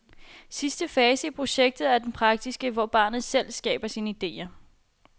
Sidste fase i projektet er den praktiske, hvor barnet selv skaber sine idéer.